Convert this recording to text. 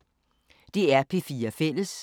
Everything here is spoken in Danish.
DR P4 Fælles